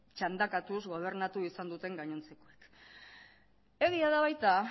txandakatuz gobernatu izan duten gainontzekoek egia da baita